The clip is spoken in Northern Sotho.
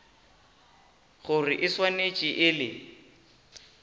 gore e swanetše e le